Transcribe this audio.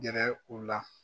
Gɛrɛ u la